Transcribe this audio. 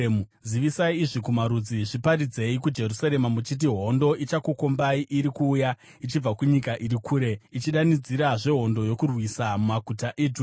“Zivisai izvi kumarudzi, zviparidzei kuJerusarema muchiti: ‘Hondo ichakukombai iri kuuya ichibva kunyika iri kure, ichidanidzira zvehondo yokurwisa maguta eJudha.